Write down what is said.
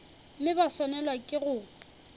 mme ba swanelwa ke go